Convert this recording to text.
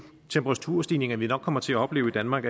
temperaturstigninger vi nok kommer til at opleve i danmark